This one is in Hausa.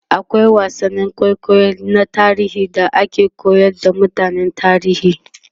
akwai wasannin kwaikwayo na tarihi da ake koyar da mutane tarihi